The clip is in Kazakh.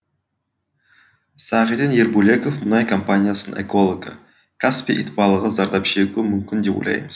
сағиден ербөлеков мұнай компаниясының экологы каспий итбалығы зардап шегуі мүмкін деп ойлаймыз